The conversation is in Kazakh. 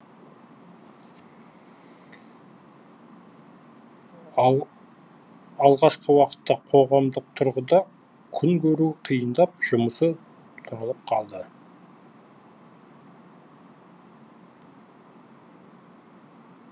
алғашқы уақытта қоғамдық тұрғыда күн көруі қиындап жұмысы тұралап қалды